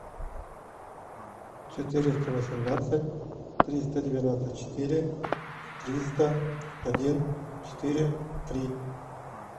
четыреста восемнадцать триста девяносто четыре триста один четыре три